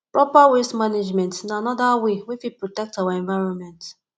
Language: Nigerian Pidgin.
proper waste management na anoda wey wey fit protect our environment